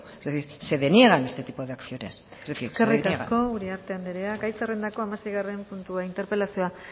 es decir se deniegan este tipo de acciones es decir se deniegan eskerrik asko uriarte andrea gai zerrendako hamaseigarren puntua interpelazioa